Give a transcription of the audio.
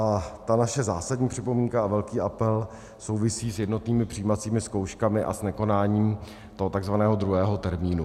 A ta naše zásadní připomínka a velký apel souvisí s jednotnými přijímacími zkouškami a s nekonáním toho tzv. druhého termínu.